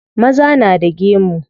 Maza na da gemu.